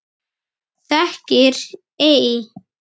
Þekkir ei?